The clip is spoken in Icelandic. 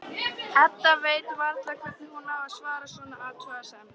Edda veit varla hvernig hún á að svara svona athugasemd.